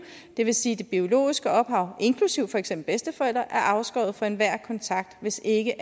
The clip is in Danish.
det vil sige at det biologiske ophav inklusive for eksempel bedsteforældre er afskåret fra enhver kontakt hvis ikke